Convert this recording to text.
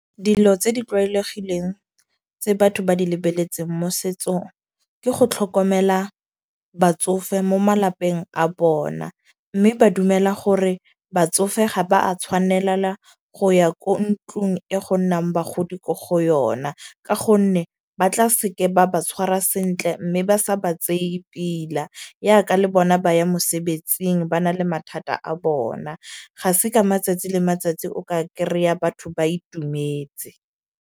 Dilo tse di tlwaelegileng tse batho ba di lebeletseng mo setsong, ke go tlhokomela batsofe mo malapeng a bona. Mme ba dumela gore batsofe ga ba a tshwanelela go ya ko ntlung e go nnang bagodi ko go yona. Ka gonne ba tla seke ba ba tshwarwa sentle. Mme ba sa ba tseye pila, ya ka le bona ba ye mosebetsing ba na le mathata a bona. Ga se ka matsatsi le matsatsi o ka kry-a batho ba itumetse.